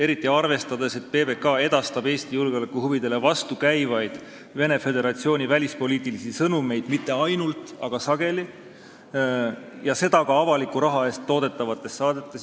Eriti kui arvestada, et PBK edastab Eesti julgeolekuhuvidele vastukäivaid Venemaa Föderatsiooni välispoliitilisi sõnumeid – mitte ainult, aga sageli – ja seda ka avaliku raha eest toodetavates saadetes.